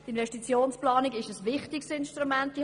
Die Investitionsplanung ist ein wichtiges Instrument.